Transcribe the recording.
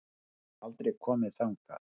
Ég hef aldrei komið þangað.